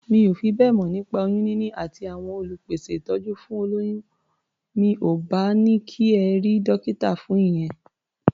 Mi ò fi bẹ́ẹ̀ mọ̀ nípa oyún níní àti àwọn olùpèsẹ̀ ìtọ́jú fún olóyún. Mi ò bá ní kí ẹ rí dọ́kítà fún ìyẹn.